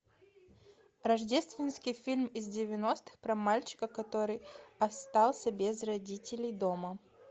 рождественский фильм из девяностых про мальчика который остался без родителей дома